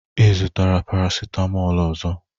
ị zụtara paracetamol ọzọ?